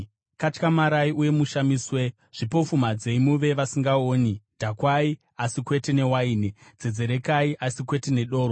Katyamarai uye mushamiswe, zvipofumadzei muve vasingaoni; dhakwai asi kwete newaini; dzedzerekai asi kwete nedoro.